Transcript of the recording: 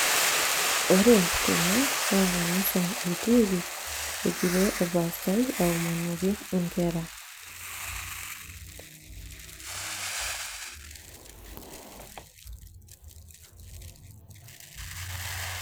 ore tene naa kanisa etiiki, egira orpaastai aomoniki inkera.